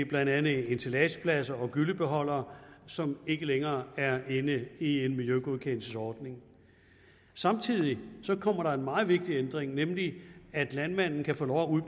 blandt andet ensilagepladser og gyllebeholdere som ikke længere er inde i en miljøgodkendelsesordning samtidig kommer der en meget vigtig ændring nemlig at landmanden kan få lov